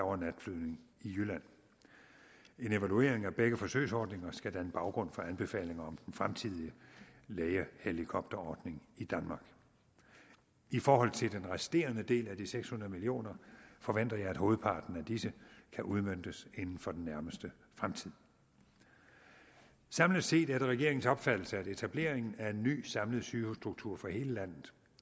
og natflyvning i jylland en evaluering af begge forsøgsordninger skal danne baggrund for anbefalinger om den fremtidige lægehelikopterordning i danmark i forhold til den resterende del af de seks hundrede million kroner forventer jeg at hovedparten af disse kan udmøntes inden for den nærmeste fremtid samlet set er det regeringens opfattelse at etableringen af en ny samlet sygehusstruktur for hele landet